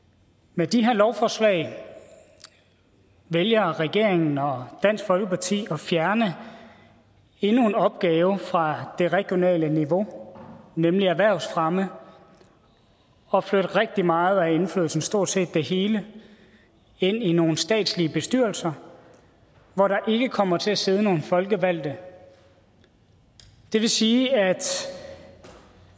med de her lovforslag vælger regeringen og dansk folkeparti at fjerne endnu en opgave fra det regionale niveau nemlig erhvervsfremme og flytte rigtig meget af indflydelsen eller stort set det hele ind i nogle statslige bestyrelser hvor der ikke kommer til at sidde nogen folkevalgte det vil sige at